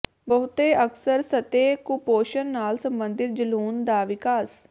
ਬਹੁਤੇ ਅਕਸਰ ਸਤਹ ਕੁਪੋਸ਼ਣ ਨਾਲ ਸਬੰਧਿਤ ਜਲੂਣ ਦਾ ਵਿਕਾਸ